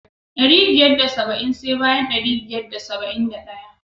Dari biyar da saba'in sai bayan ɗari biyar da saba'in da ɗaya.